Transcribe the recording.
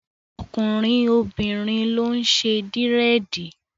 Tọkùnrin, obìnrin ló ń ṣe Dírẹ̀dì.